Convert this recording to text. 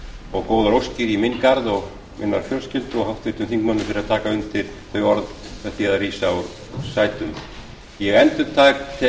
og góðar óskir í minn garð og minnar fjölskyldu og háttvirtum þingmönnum fyrir að taka undir þau orð með því að rísa úr sætum ég endurtek